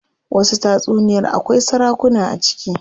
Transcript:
Wasu tatsuniyar akwai sarakuna a ciki.